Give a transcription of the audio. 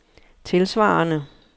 tilsvarende